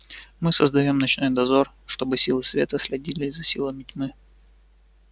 мы создаём ночной дозор чтобы силы света следили за силами тьмы